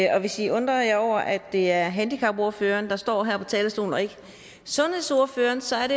hvis i undrer jer over at det er handicapordføreren der står her på talerstolen og ikke sundhedsordføreren så kan